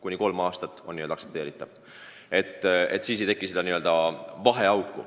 Kuni kolm aastat on aktsepteeritav.